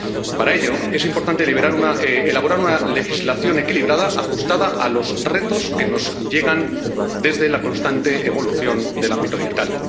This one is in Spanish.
Para ello es importante elaborar una legislación equilibrada ajustada a los retos que nos llegan desde la constante evolución del ámbito digital.